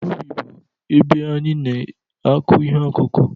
Ubi bụ ebe anyị na-akụ ihe ọkụkụ.